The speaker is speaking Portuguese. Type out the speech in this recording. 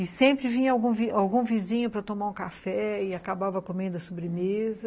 E sempre vinha algum algum vizinho para tomar um café e acabava comendo a sobremesa.